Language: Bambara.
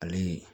Ale